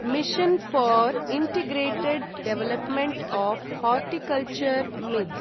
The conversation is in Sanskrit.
mission for integrated development of horticulture (मिध्)